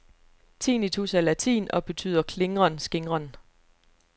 Tinnitus er latin og betyder klingren, skingren.